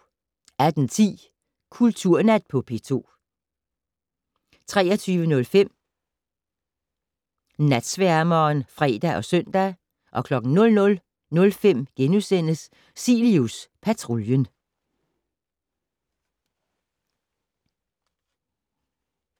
18:10: Kulturnat på P2 23:05: Natsværmeren (fre og søn) 00:05: Cilius Patruljen *